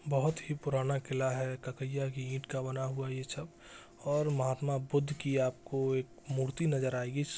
बहुत ही पुराना किला है ककाइया की ईटं का बना हुआ है यह सब और महात्मा बुद्ध की आपको एक मूर्ति नज़र आएगी इस--